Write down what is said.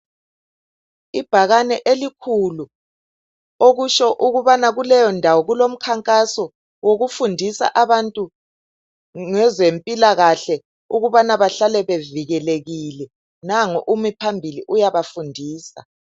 Ibhakani elikhulu. okutsho ukubana kuleyo ndawo kulomnkangaso wokufundisa abantu ngezemphilakahle ukubana behlale bevikelekile. Nangu umi phambili uyabafundisa.